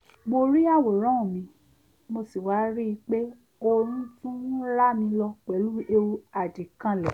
mo rí àwòrán mi mo sì wá ríi pé oorun tún rámi lọ pẹ̀lú èwù àdìkanlẹ̀